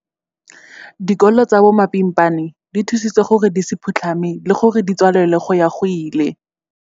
Dikolo tsa bomapimpana di thusitswe gore di se phutlhame le gore di se tswalelwe go ya go ile.